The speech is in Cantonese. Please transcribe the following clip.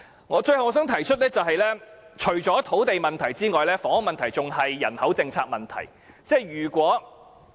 我最後想提出，除土地問題外，房屋問題還牽涉人口政策問題。